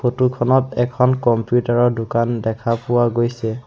Photo খনত এখন computer ৰ দোকান দেখা পোৱা গৈছে।